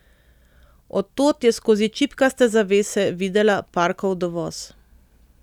Od tod je skozi čipkaste zavese videla Parkov dovoz.